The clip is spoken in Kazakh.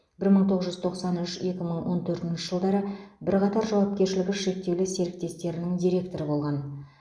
бір мың тоғыз жүз тоқсан үш екі мың он төртінші жылдары бірқатар жауапкершілігі шектеулі серіктестерінің директоры болған